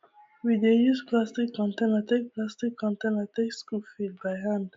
we dey use plastic container take plastic container take scoop feed by hand